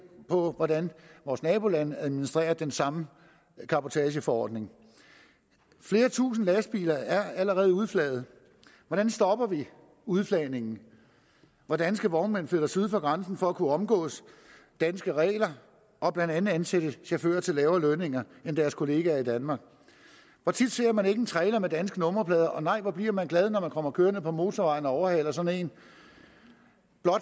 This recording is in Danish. på hvordan vores nabolande administrerer den samme cabotageforordning flere tusinde lastbiler er allerede udflaget hvordan stopper vi udflagningen hvor danske vognmænd flytter syd for grænsen for at kunne omgå danske regler og blandt andet ansætte chauffører til lavere lønninger end deres kollegaer i danmark hvor tit ser man ikke en trailer med danske nummerplader og nej hvor bliver man glad når man kommer kørende på motorvejen og overhaler sådan en